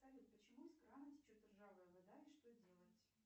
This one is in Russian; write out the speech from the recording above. салют почему из крана течет ржавая вода и что делать